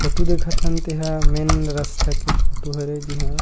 photo देखत हन तेहा मेन रस्ता के फोटू हरे जिहा--